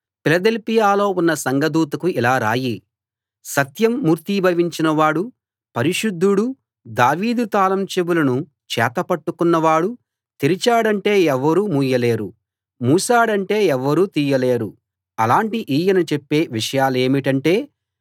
ఫిలదెల్ఫియలో ఉన్న సంఘదూతకు ఇలా రాయి సత్యం మూర్తీభవించిన వాడూ పరిశుద్ధుడూ దావీదు తాళం చెవులను చేత పట్టుకున్న వాడు తెరిచాడంటే ఎవరూ మూయలేరు మూశాడంటే ఎవరూ తీయలేరు అలాటి ఈయన చెప్పే విషయాలేమిటంటే